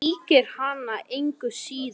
Það mýkir hana engu síður en strekktan vöðva.